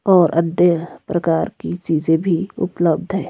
और अन्य प्रकार की चीजें भी उपलब्ध है।